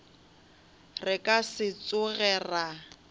re ka se tsoge ra